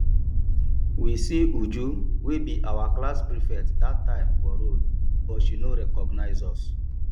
we see uju wey be our class prefect dat time for road but she no recognize us